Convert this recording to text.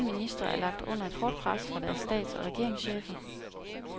De femten ministre er lagt under et hårdt pres fra deres stats og regeringschefer.